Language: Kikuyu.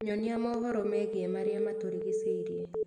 nyonia mohoro megie marĩa matũrigishĩirie